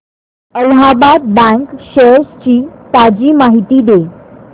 Allahabad bank shares ची ताजी माहिती दे